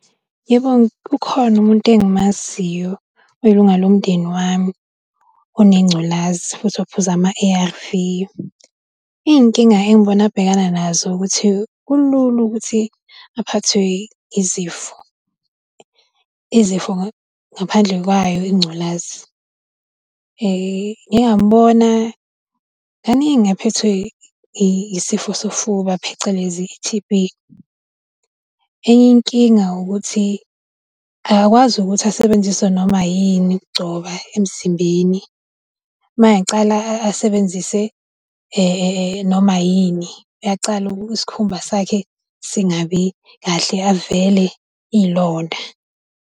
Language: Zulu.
Yebo, ukhona umuntu engimaziyo oyilunga lomndeni wami, onengculazi, futhi ophuza ama-A_R_V. Iy'nkinga engibona abhekana nazo ukuthi kulula ukuthi aphathwe izifo, izifo ngaphandle kwayo ingculazi. Ngike ngamubona kaningi ephethwe isifo sofuba phecelezi i-T_B. Enye inkinga ukuthi akakwazi ukuthi asebenzise noma yini ukugcoba emzimbeni. Mayengacala asebenzise noma yini, uyacala isikhumba sakhe singabi kahle avele iy'londa.